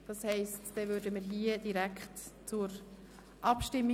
Damit kommen wir hier direkt zur Abstimmung.